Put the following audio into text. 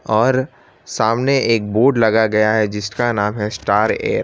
और सामने एक बोर्ड लगया गया है जिसका नाम है स्टार एयर ।